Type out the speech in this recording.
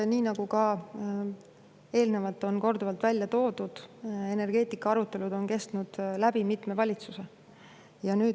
Nii nagu ka eelnevalt on korduvalt välja toodud: energeetikaarutelud on kestnud läbi mitme valitsuse.